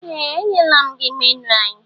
Ee! Enyela m gị menu anyị.